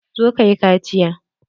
Zo ka yi kaciya!